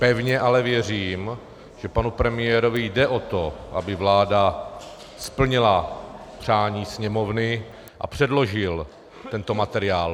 Pevně ale věřím, že panu premiérovi jde o to, aby vláda splnila přání Sněmovny a předložil tento materiál.